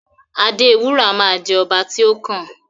Adewura ma jẹ ọba ti o kàn.